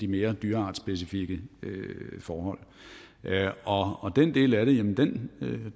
mere dyreartsspecifikke forhold og den del af det